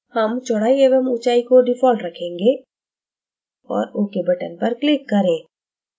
हम चौड़ाई एवं ऊंचाई को default रखेंगे और ok button पर click करें